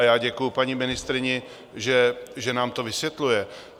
A já děkuji paní ministryni, že nám to vysvětluje.